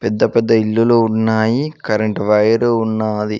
ఇంత పెద్ద ఇల్లులు ఉన్నాయి కరెంటు వైరు ఉన్నాది.